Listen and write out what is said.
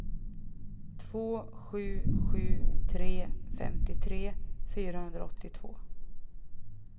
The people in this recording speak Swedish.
två sju sju tre femtiotre fyrahundraåttiotvå